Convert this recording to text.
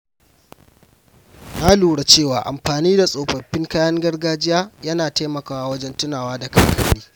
Na lura cewa amfani da tsofaffin kayan gargajiya yana taimakawa wajen tunawa da kakanni.